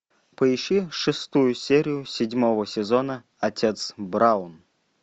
поищи шестую серию седьмого сезона отец браун